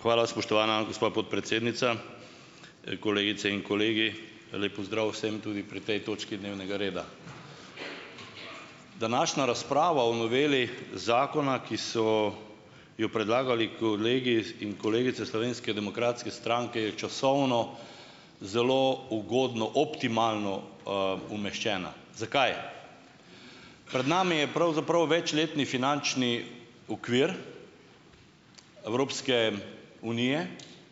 Hvala spoštovana gospa podpredsednica, kolegice in kolegi, lep pozdrav vsem tudi pri tej točki dnevnega reda. Današnja razprava o noveli zakona, ki so jo predlagali kolegi, in kolegice Slovenske demokratske stranke je časovno zelo ugodno optimalno, umeščena. Zakaj? Pred nami je pravzaprav večletni finančni okvir Evropske unije,